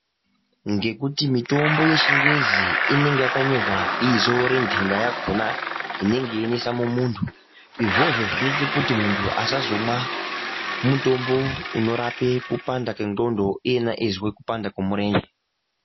Ngekuti mutombo yechingezi inenge yakanyorwa bizo rentenda yakhona inenge yeinesa mu muntu izvozvo zvinoite kuti muntu asazomwa mutombo inorapa kupanda kwendxondo iyena eizwe kupanda kwemurenje.